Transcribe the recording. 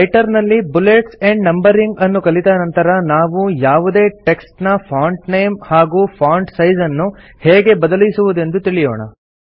writer ನಲ್ಲಿ bullets and numbering ಅನ್ನು ಕಲಿತ ನಂತರ ನಾವು ಯಾವುದೇ ಟೆಕ್ಸ್ಟ್ ನ ಫಾಂಟ್ ನೇಮ್ ಹಾಗೂ ಫಾಂಟ್ ಸೈಜ್ ಅನ್ನು ಹೇಗೆ ಬದಲಿಸುವುದೆಂದು ತಿಳಿಯೋಣ